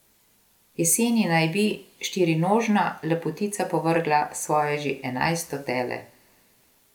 Jeseni naj bi štirinožna lepotica povrgla svoje že enajsto tele.